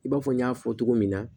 I b'a fɔ n y'a fɔ cogo min na